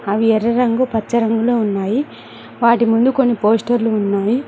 అవి ఎర్ర రంగు పచ్చ రంగులో ఉన్నాయి వాటి ముందు కొన్ని పోస్టర్లు ఉన్నాయి.